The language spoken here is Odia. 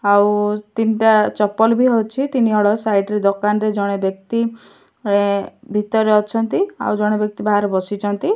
ଆଉ ତିନିଟା ଚପଲବି ଅଛି ତିନି ହଳ ସାଇଡ ରେ ଦୋକାନରେ ଜଣେ ବ୍ୟକ୍ତି ଏଁ ଭିତରରେ ଅଛନ୍ତି ଆଉ ଜଣେ ବ୍ୟକ୍ତି ବାହାରେ ବସିଚନ୍ତି।